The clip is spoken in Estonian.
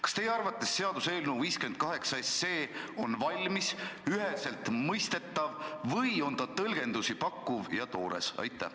Kas teie arvates seaduseelnõu 58 on valmis, üheselt mõistetav või on ta tõlgendusi pakkuv ja toores?